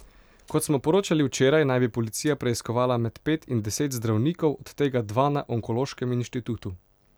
Kot smo poročali včeraj, naj bi policija preiskovala med pet in deset zdravnikov, od tega dva na Onkološkem inštitutu.